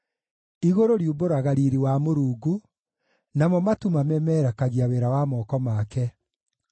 Igũrũ riumbũraga riiri wa Mũrungu; namo matu mamemerekagia wĩra wa moko make.